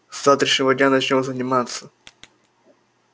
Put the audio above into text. с завтрашнего дня начнём заниматься